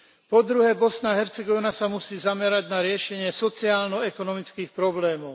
Po druhé Bosna a Hercegovina sa musí zamerať na riešenie sociálno ekonomických problémov.